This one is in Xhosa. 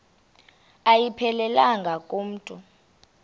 ayiphelelanga ku mntu